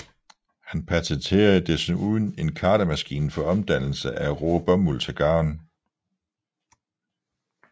Han patenterede desuden en kartemaskine for omdannelse af rå bomuld til garn